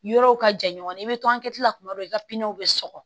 Yɔrɔw ka jan ɲɔgɔn na i bɛ to ankɛ la kuma dɔ i ka piinɛ bɛ sɔgɔ